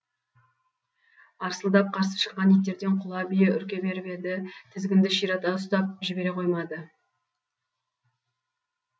арсылдап қарсы шыққан иттерден құла бие үрке беріп еді тізгінді ширата ұстап жібере қоймады